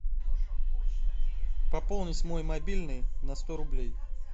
пополнить мой мобильный на сто рублей